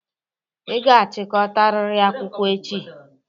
Ị ga-achịkọtariri akwụkwọ echi!